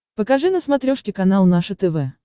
покажи на смотрешке канал наше тв